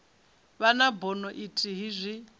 vha na bono ithihi zwi